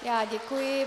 Já děkuji.